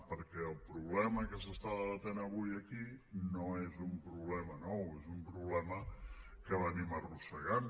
perquè el problema que s’està debatent avui aquí no és un problema nou és un problema que arrosseguem